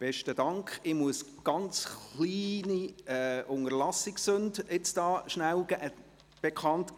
Ich muss noch kurz eine kleine Unterlassungssünde bekannt geben.